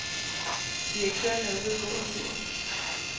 Direktøren er ude at gå en tur.